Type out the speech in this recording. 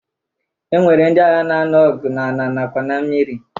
E nwere ndị agha na-anu ọgụ n'ala nakwa na mmiri